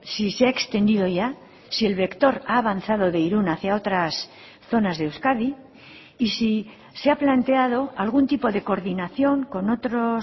si se ha extendido ya si el vector ha avanzado de irun hacia otras zonas de euskadi y si se ha planteado algún tipo de coordinación con otros